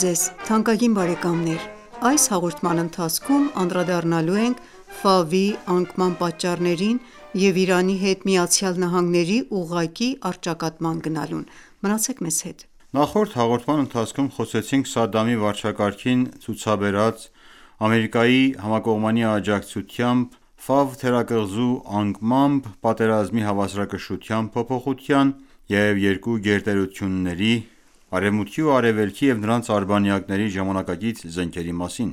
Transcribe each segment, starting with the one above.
ձեզ թանկագին բարեկամներ: Այս հաղորդման ընթացքում անդրադառնալու ենք անկման պատճառներին և Իրանի հետ ԱՄՆ-ի ուղղակի առճակատման գնալուն։ Նախորդ հաղորդման ընթացքում խոսեցինք Սադամի վարչակարգին ցուցաբերած Ամերիկայի համակողմանի աջակցությամբ թերակղզու անկմամբ պատերազմի հավասարակշռության փոփոխության և երկու գերտերությունների՝ Արևմուտքի ու Արևելքի և նրանց արբանյակների ժամանակակից զենքերի մասին։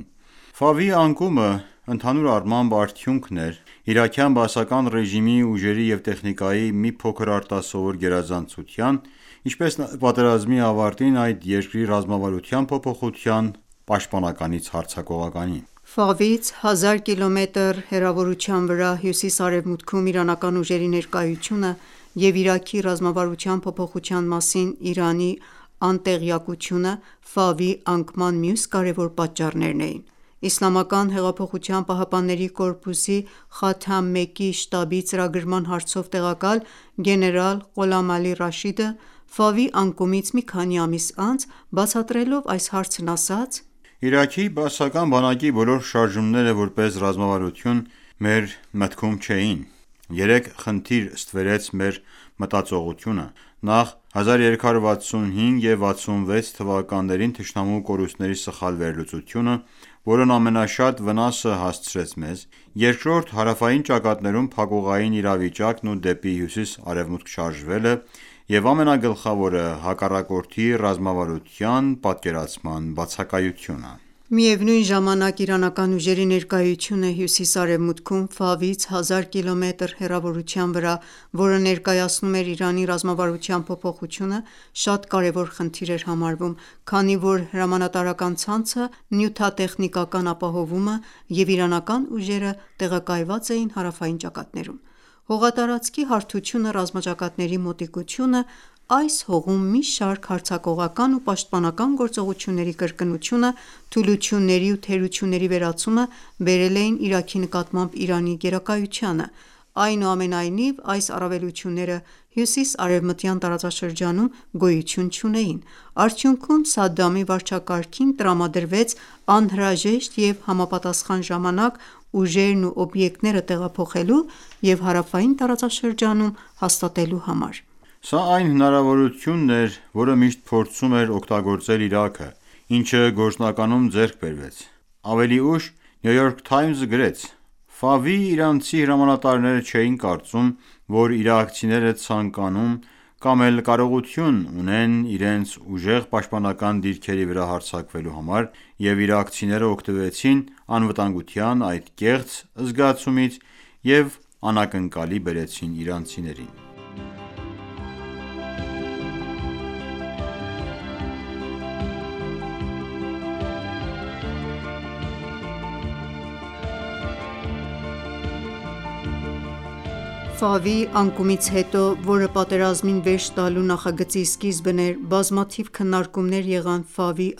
Ֆավի անկումը, ընդհանուր առմամբ, արդյունք էր իրաքյան բաասական ռեժիմի ուժերի և տեխնիկայի մի փոքր արտասովոր գերազանցության, ինչպես նաև պատերազմի ավարտին այդ երկրի ռազմավարության փոփոխության՝ պաշտպանականից հարձակողականի: Ֆավից 1000 կիլոմետր հեռավորության վրա հյուսիս-արևմուտքում իրանական ուժերի ներկայությունը և Իրաքի ռազմավարության փոփոխության մասին ԻԻՀ-ի անտեղյակությունը Ֆավի անկման մյուս կարևոր պատճառներն էին: ԻՀՊԿ-ի Խաթամ ​​1-ի շտաբի ծրագրման հարցով տեղակալ գեներալ Ղոլամ Ալի Ռաշիդը Ֆավի անկումից մի քանի ամիս անց բացատրելով այս հարցն ասաց.«Իրաքի բաասական բանակի բոլոր շարժումները որպես ռազմավարություն մեր մտքում չէին: Երեք խնդիր ստվերեց մեր մտածողությունը՝ Նախ՝ 1365 (1986) և 1366 (1987) թթ․-ին թշնամու կորուստների սխալ վերլուծությունը, որն ամենաշատ վնասը հասցրեց մեզ։ Երկրորդ՝ հարավային ճակատներում փակուղային իրավիճակն ու դեպի հյուսիս-արևմուտք շարժվելը, և ամենագլխավորը՝ հակառակորդի ռազմավարության պատկերացման բացակայությունը։ Միևնույն ժամանակ, իրանական ուժերի ներկայությունը հյուսիս-արևմուտքում՝ Ֆավից 1000 կիլոմետր հեռավորության վրա, որը ներկայացնում էր Իրանի ռազմավարության փոփոխություն, շատ կարևոր խնդիր էր համարվում, քանի որ հրամանատարական ցանցը, նյութատեխնիկական ապահովումը և իրանական ուժերը տեղակայված էին հարավային ճակատներում։ Հողատարածքի հարթությունը, ռազմաճակատների մոտիկությունը, այս հողում մի շարք հարձակողական ու պաշտպանական գործողությունների կրկնությունը, թուլությունների ու թերությունների վերացումը բերել էին Իրաքի նկատմամբ Իրանի գերակայությանը։ Այնուամենայնիվ, այս առավելությունները հյուսիս-արևմտյան տարածաշրջանում գոյություն չունեին: Արդյունքում Սադամի վարչակարգին տրամադրվեց անհրաժեշտ և համապատասխան ժամանակ՝ ուժերն ու օբյեկտները տեղափոխելու և հարավային տարածաշրջանում հաստատելու համար։ Սա այն հնարավորությունն էր, որը միշտ փորձում էր օգտագործել Իրաքը, ինչը գործնականում ձեռք բերվեց։ Ավելի ուշ New York Times-ը գրեց.«Ֆավի իրանցի հրամանատարները չէին կարծում, որ իրաքցիները ցանկանում կամ էլ կարողություն ունեն իրենց ուժեղ պաշտպանական դիրքերի վրա հարձակվելու համար, և իրաքցիներն օգտվեցին անվտանգության այդ կեղծ զգացումից և անակնկալի բերեցին իրանցիներին»: Ֆավի անկումից հետո, որը պատերազմին վերջ տալու նախագծի սկիզբն էր, բազմաթիվ քննարկումներ եղան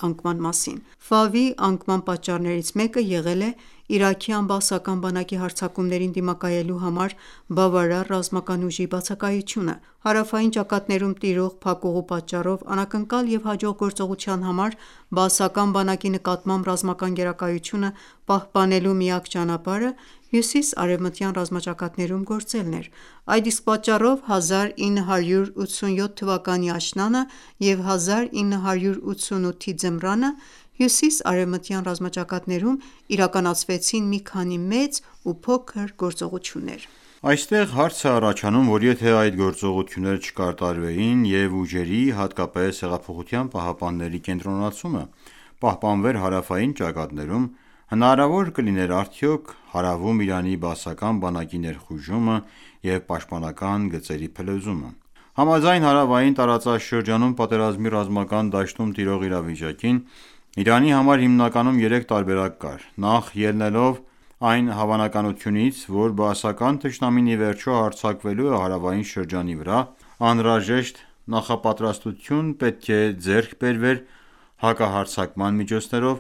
անկման մասին։ Ֆավի անկման պատճառներից մեկը եղել է իրաքյան բաասական բանակի հարձակումներին դիմակայելու համար բավարար ռազմական ուժի բացակայությունը։ Հարավային ճակատներում տիրող փակուղու պատճառով անակնկալ և հաջող գործողության համար բաասական բանակի նկատմամբ ռազմական պահպանելու միակ ճանապարհը հյուսիսարևմտյան ռազմաճակատներում գործելն էր: Այդ իսկ պատճառով 1987-ի աշնանը և 1988-ի ձմռանը հյուսիսարևմտյան ռազմաճակատներում իրականացվեցին մի քանի մեծ ու փոքր գործողություններ։ Այստեղ հարց է առաջանում, որ եթե այդ գործողությունները չկատարվեին, և ուժերի, հատկապես Հեղափոխության պահապանների կենտրոնացումը պահպանվեր հարավային ճակատներում, հնարավոր կլիներ արդյո՞ք հարավում Իրաքի բաասական բանակի ներխուժումը և պաշտպանական գծերի փլուզումը: Համաձայն հարավային տարածաշրջանում պատերազմի ռազմական դաշտում տիրող իրավիճակի՝ Իրանի համար հիմնականում երեք տարբերակ կար: Նախ՝ ելնելով այն հավանականությունից, որ բաասական թշնամին ի վերջո հարձակվելու է հարավային շրջանի վրա, անհրաժեշտ նախապատրաստություն պետք է ձեռք բերվեր՝ հակահարձակման միջոցներով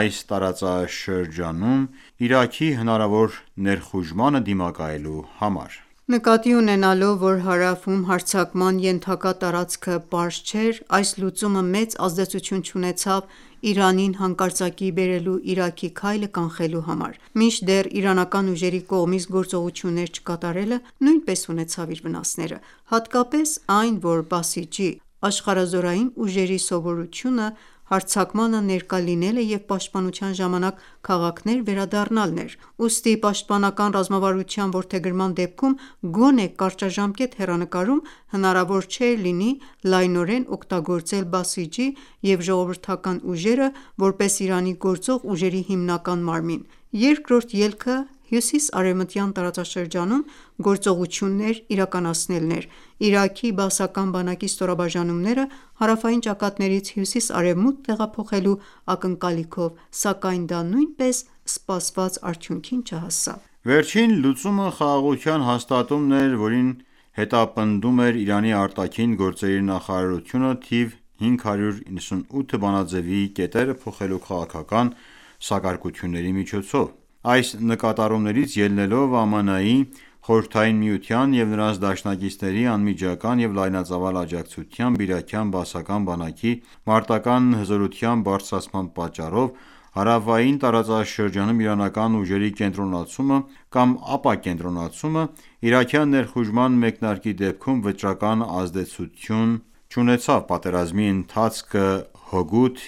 այս տարածաշրջանում Իրաքի հնարավոր ներխուժմանը դիմակայելու համար: Նկատի ունենալով, որ հարավում հարձակման ենթակա տարածքը պարզ չէր, այս լուծումը մեծ ազդեցություն չունեցավ Իրանին հանկարծակիի բերելու Իրաքի քայլը կանխելու համար, մինչդեռ իրանական ուժերի կողմից գործողություններ չկատարելը նույնպես ունեցավ իր վնասները, հատկապես այն, որ «Բասիջի» (աշխարհազորային) ուժերի սովորությունը հարձակմանը ներկա լինելը և պաշտպանության ժամանակ քաղաքներ վերադառնալն էր։ Ուստի պաշտպանական ռազմավարության որդեգրման դեպքում գոնե կարճաժամկետ հեռանկարում հնարավոր չէր լինի լայնորեն օգտագործել «Բասիջի» և ժողովրդական ուժերը՝ որպես Իրանի գործող ուժերի հիմնական մարմին։ Երկրորդ ելքը հյուսիսարևմտյան տարածաշրջանում գործողություններ իրականացնելն էր՝ Իրաքի բաասական բանակի ստորաբաժանումները հարավային ճակատներից հյուսիս-արևմուտք տեղափոխելու ակնկալիքով, սակայն դա նույնպես սպասված արդյունքին չհասավ։ Վերջին լուծումը խաղաղության հաստատումն էր, որին հետապնդում էր Իրանի արտաքին գործերի նախարարությունը՝ թիվ 598 բանաձեւի կետերը փոխելու քաղաքական սակարկությունների միջոցով։ Այս նկատառումներից ելնելով, ԱՄՆ-ի, Խորհրդային Միության և նրանց դաշնակիցների անմիջական և լայնածավալ աջակցությամբ իրաքյան բաասական բանակի մարտական ​​հզորության բարձրացման պատճառով հարավային տարածաշրջանում իրանական ուժերի կենտրոնացումը կամ ապակենտրոնացումը՝ իրաքյան ներխուժման մեկնարկի դեպքում վճռական ազդեցություն չունենա պատերազմի ընթացքը հօգուտ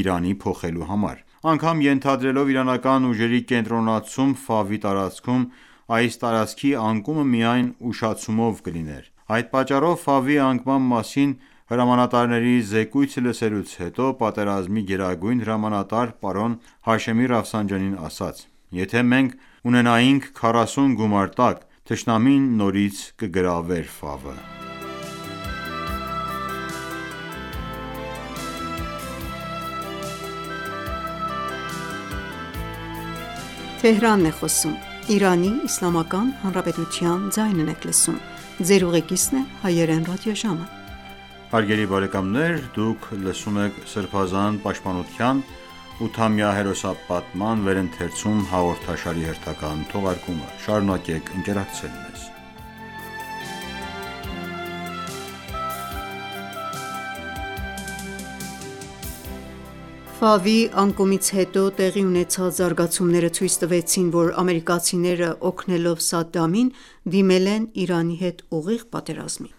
Իրանի փոխելու համար։ Անգամ ենթադրելով իրանական ուժերի կենտրոնացում Ֆավի տարածքում, այս տարածքի անկումը միայն ուշացումով կլիներ։ Այդ պատճառով Ֆավի անկման մասին հրամանատարների զեկույցը լսելուց հետո պատերազմի գերագույն հրամանատար պարոն Հաշեմի ասաց.«Եթե մենք ունենայինք 40 գումարտակ, թշնամին նորից կգրավեր Ֆավը»։ անկումից հետո տեղի ունեցած զարգացումները ցույց տվեցին, որ ամերիկացիները օգնելով Սադամին դիմել են Իրանի հետ ուղիղ պատերազմի: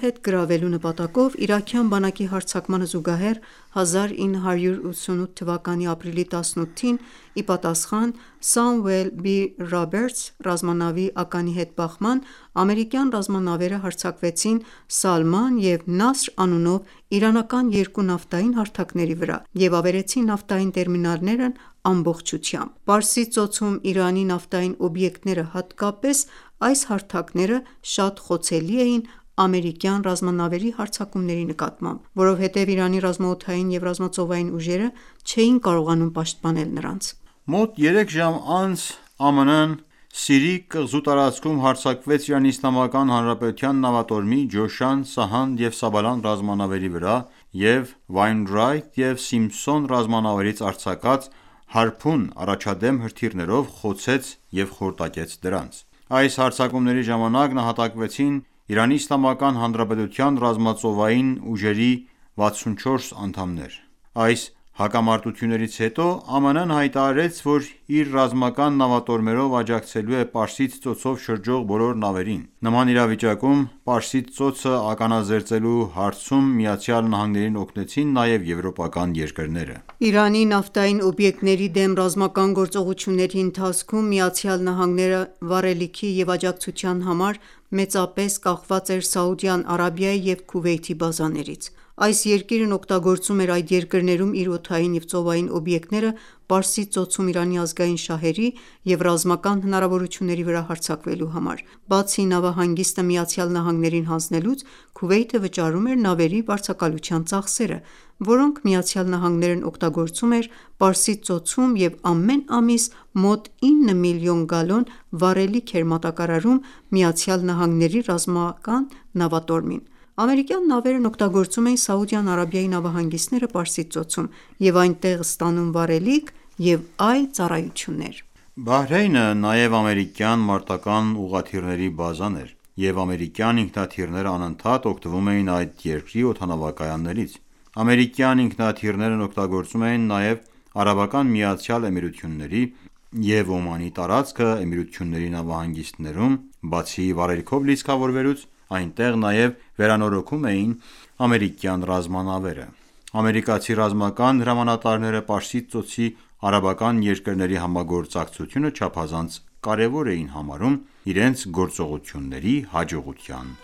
հետ գրավելու նպատակով իրաքյան բանակի հարձակմանը զուգահեռ՝ 1988 թվականի ապրիլի 18-ին, ի պատասխան Samuel B. Roberts ռազմանավի ականի հետ բախման, ամերիկյան ռազմանավերը հարձակվեցին Սալման և Նասր անունով իրանական երկու նավթային հարթակների վրա և ավերեցին նավթային տերմինալներն ամբողջությամբ: Պարսից ծոցում Իրանի նավթային օբյեկտները, հատկապես այս հարթակները, շատ խոցելի էին ամերիկյան ռազմանավերի հարձակումների նկատմամբ։ Որովհետև Իրանի ռազմաօդային և ռազմածովային ուժերը չէին կարողանում պաշտպանել նրանց։ Մոտ երեք ժամ անց ԱՄՆ-ն ​​Սիրի կղզու տարածքում հարձակվեց Իրանի Իսլամական Հանրապետության նավատորմի «Ջոշան», «Սահանդ» և «Սաբլան» ռազմանավերի վրա և Wainwright և Simpson ռազմանավերից արձակված «Հարփուն» առաջադեմ հրթիռներով խոցեց և խորտակեց դրանց: Այս հարձակումների ժամանակ նահատակվեցին ԻԻՀ-ի ռազմածովային ուժերի 64 անդամներ։ Այս հակամարտություններից հետո ԱՄՆ-ն ​​հայտարարեց, որ իր ռազմական նավատորմով աջակցելու է Պարսից Ծոցով շրջող բոլոր նավերին։ Նման իրավիճակում Պարսից ծոցը ականազերծելու հարցում ԱՄՆ-ին օգնեցին նաև եվրոպական երկրները։ Իրանի նավթային օբյեկտների դեմ ռազմական գործողությունների ընթացքում ԱՄՆ-ն ​​վառելիքի և աջակցության համար մեծապես կախված էր Սաուդյան Արաբիայի և Քուվեյթի բազաներից: Այս երկիրն օգտագործում էր այդ երկրներում իր օդային և ծովային օբյեկտները Պարսից ծոցում Իրանի ազգային շահերի և ռազմական հնարավորությունների վրա հարձակվելու համար։ Բացի նավահանգիստը ԱՄՆ-ին հանձնելուց, Քուվեյթը վճարում էր նավերի վարձակալության ծախսերը, որոնք ԱՄՆ-ն օգտագործում էր Պարսից ծոցում և ամեն ամիս մոտ 9 միլիոն գալոն վառելիք էր մատակարարում ԱՄՆ ռազմական նավատորմին: Ամերիկյան նավերն օգտագործում էին Սաուդյան Արաբիայի նավահանգիստները Պարսից ծոցում և այնտեղ ստանում վառելիք և այլ ծառայություններ։ Բահրեյնը նաև ամերիկյան մարտական ​​ուղղաթիռների բազան էր, և ամերիկյան ինքնաթիռներն անընդհատ օգտվում էին այդ երկրի օդանավակայաններից։ Ամերիկյան ինքնաթիռներն օգտագործում էին նաև Արաբական Միացյալ Էմիրությունների և Օմանի տարածքը, և Էմիրությունների նավահանգիստներում բացի վառելիքով լիցքավորվելուց այնտեղ նաև վերանորոգվում էին ամերիկյան ռազմանավերը։ Ամերիկացի ռազմական հրամանատարները Պարսից ծոցի արաբական երկրների համագործակցությունը չափազանց կարևոր էին համարում իրենց գործողությունների հաջողության